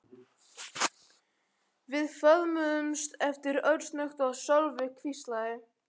Við föðmuðumst aftur örsnöggt og Sölvi hvíslaði